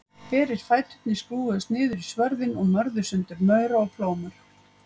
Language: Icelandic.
Berir fæturnir skrúfuðust niður í svörðinn og mörðu sundur maura og plómur.